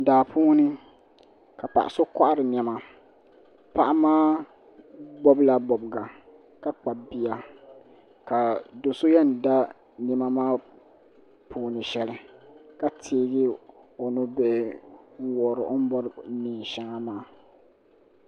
Daa puuni ka paɣa so kohari niɛma paɣa maa bobila bobga ka kpabi bia ka do'so yen da niɛma maa puuni sheli ka teegi o nubihi n wuhiri o ni bori niɛn'sheŋa maa.